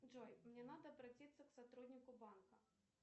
джой мне надо обратиться к сотруднику банка